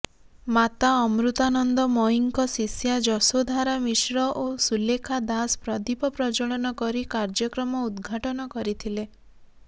ମାତା ଅମୃତାନନ୍ଦମୟୀଙ୍କ ଶିଷ୍ୟା ଯଶୋଧାରା ମିଶ୍ର ଓ ସୁଲେଖା ଦାଶ ପ୍ରଦୀପ ପ୍ରଜ୍ଜ୍ୱଳନ କରି କାର୍ଯ୍ୟକ୍ରମ ଉଦଘାଟନ କରିଥିଲେ